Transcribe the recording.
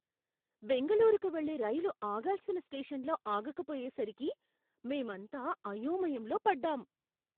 బెంగళూరుకు వెళ్లే రైలు ఆగాల్సిన స్టేషన్లో ఆగకపోయేసరికి మేమంతా అయోమయంలో పడ్డాం.